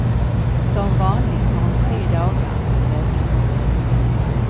Som vanligt har hon tre dagar att lösa sitt problem.